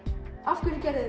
af hverju gerðuð